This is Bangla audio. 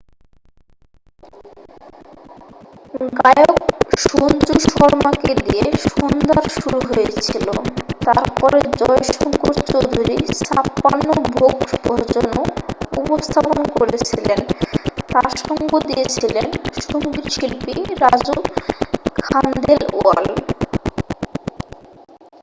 গায়ক সঞ্জু শর্মাকে দিয়ে সন্ধ্যার শুরু হয়েছিল তার পরে জয় শঙ্কর চৌধুরী ছাপ্পান ভোগ ভজনও উপস্থাপন করেছিলেন তার সঙ্গ দিয়েছিলেন সংগীতশিল্পী রাজু খানদেলওয়াল